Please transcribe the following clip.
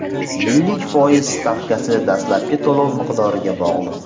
Yillik foiz stavkasi dastlabki to‘lov miqdoriga bog‘liq.